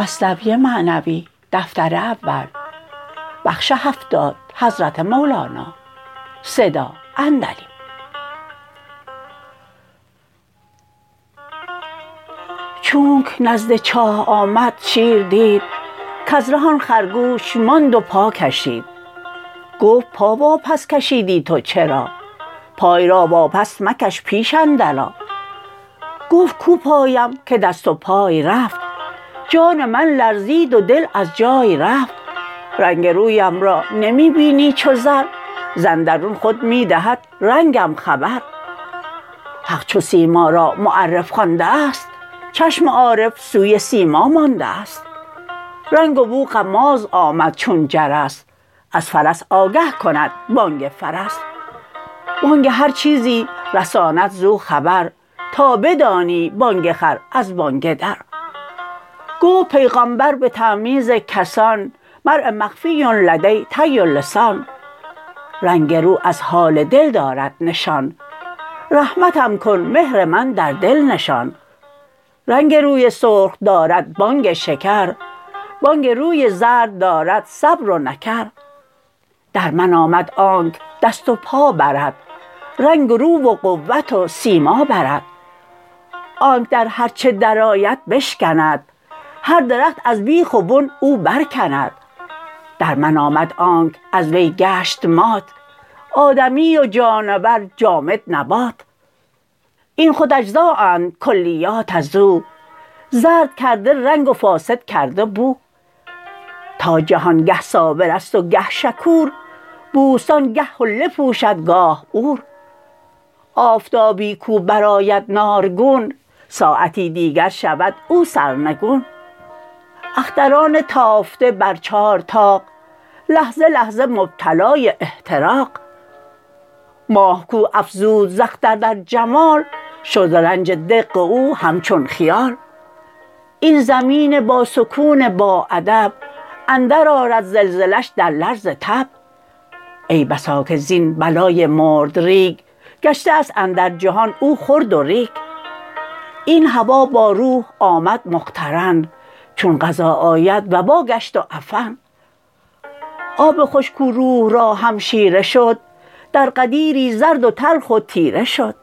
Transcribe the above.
چونک نزد چاه آمد شیر دید کز ره آن خرگوش ماند و پا کشید گفت پا واپس کشیدی تو چرا پای را واپس مکش پیش اندر آ گفت کو پایم که دست و پای رفت جان من لرزید و دل از جای رفت رنگ رویم را نمی بینی چو زر ز اندرون خود می دهد رنگم خبر حق چو سیما را معرف خوانده ست چشم عارف سوی سیما مانده ست رنگ و بو غماز آمد چون جرس از فرس آگه کند بانگ فرس بانگ هر چیزی رساند زو خبر تا بدانی بانگ خر از بانگ در گفت پیغامبر به تمییز کسان مرء مخفی لدی طی اللسان رنگ رو از حال دل دارد نشان رحمتم کن مهر من در دل نشان رنگ روی سرخ دارد بانگ شکر بانگ روی زرد دارد صبر و نکر در من آمد آنک دست و پا برد رنگ رو و قوت و سیما برد آنک در هر چه در آید بشکند هر درخت از بیخ و بن او بر کند در من آمد آنک از وی گشت مات آدمی و جانور جامد نبات این خود اجزا اند کلیات ازو زرد کرده رنگ و فاسد کرده بو تا جهان گه صابرست و گه شکور بوستان گه حله پوشد گاه عور آفتابی کو بر آید نارگون ساعتی دیگر شود او سرنگون اختران تافته بر چار طاق لحظه لحظه مبتلای احتراق ماه کو افزود ز اختر در جمال شد ز رنج دق او همچون خیال این زمین با سکون با ادب اندر آرد زلزله ش در لرز تب ای بسا که زین بلای مردریگ گشته است اندر جهان او خرد و ریگ این هوا با روح آمد مقترن چون قضا آید وبا گشت و عفن آب خوش کو روح را همشیره شد در غدیری زرد و تلخ و تیره شد